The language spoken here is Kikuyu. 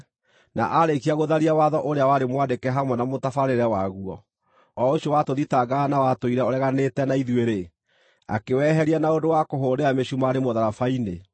na aarĩkia gũtharia watho ũrĩa warĩ mwandĩke hamwe na mũtabarĩre waguo, o ũcio watũthitangaga na watũire ũreganĩte na ithuĩ-rĩ; akĩweheria na ũndũ wa kũũhũrĩra mĩcumarĩ mũtharaba-inĩ.